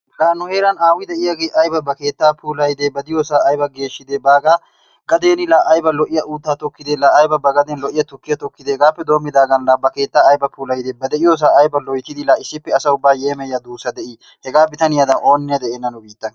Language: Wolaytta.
La nu heeran aawa deiyage ayba ba keettaa puulayide! ba diyosa ayba geeshshide hagaa gadeni la ayba lo'iyaa utta tokkide la ayba ba gaden lo'iyaa tukkiyaa hegaappe dommidagan ba keettaa ayba puulayide, ba deiyosa la ayba loyttidi issippe asaa ubba yeemoyiyaa duussaa dei! hegaa bitaniyadan oonne de'eena nu biittan.